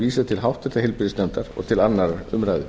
vísað til háttvirtrar heilbrigðisnefndar og til annarrar umræðu